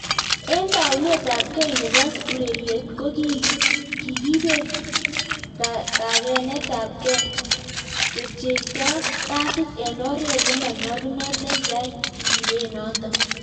Eng taounet ab gei neboo ureriet ko kikibet kakenet ab gei, kepcheitee pasiit eng oret nemonyalunot nekiyai kibeet notok